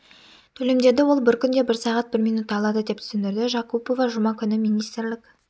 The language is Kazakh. төлемдерді ол бір күнде бір сағат бір минутта алады деп түсіндірді жакупова жұма күні министрлік